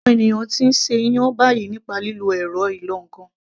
Àwọn ènìyàn ti ń ṣe iyán báyìí nípa lílo ẹ̀rọ ìlọ ǹkan